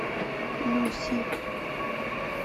люси